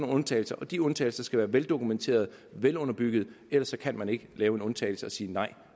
undtagelser og de undtagelser skal være veldokumenterede og velunderbyggede ellers kan man ikke lave en undtagelse og sige nej